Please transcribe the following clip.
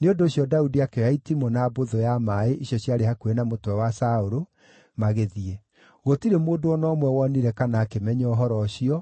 Nĩ ũndũ ũcio Daudi akĩoya itimũ na mbũthũ ya maaĩ icio ciarĩ hakuhĩ na mũtwe wa Saũlũ, magĩthiĩ. Gũtirĩ mũndũ o na ũmwe wonire kana akĩmenya ũhoro ũcio,